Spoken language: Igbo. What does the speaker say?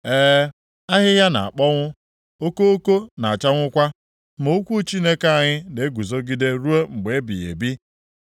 E, ahịhịa na-akpọnwụ, okoko na-achanwụkwa, ma okwu Chineke anyị na-eguzogide ruo mgbe ebighị ebi.”